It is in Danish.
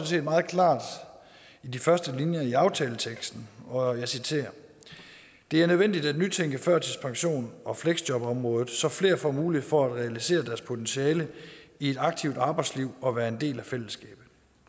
set meget klart i de første linjer i aftaleteksten og jeg citerer det er nødvendigt at nytænke førtidspensions og fleksjobområdet så flere får mulighed for at realisere deres potentiale i et aktivt arbejdsliv og være en del af fællesskabet